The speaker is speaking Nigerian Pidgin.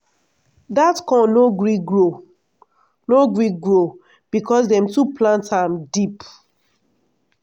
dat corn no gree grow no gree grow because dem too plant am deep.